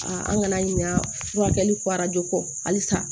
an kana ɲina furakɛli ko kɔ halisa